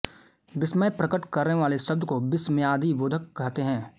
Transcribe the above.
विस्मय प्रकट करने वाले शब्द को विस्मायादिबोधक कहते हैं